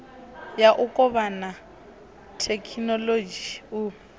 ya u kovhana thekhinolodzhi u